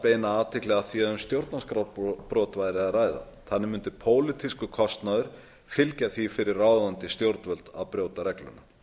beina athygli að því að um stjórnarskrárbrot væri að ræða þannig mundi pólitískur kostnaður fylgja því fyrir ráðandi stjórnvöld að brjóta regluna